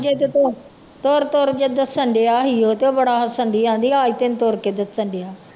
ਤੇ ਤੁ ਤੁਰ ਤੁਰ ਕੇ ਡੱਸਣਡਿਆ ਸੀ ਉਹ ਤੇ ਬੜਾ ਹੱਸਣਡੀ ਕਹਿੰਦੀ ਆਹ ਤੈਨੂੰ ਤੁਰ ਕੇ ਡੱਸਣਡਿਆ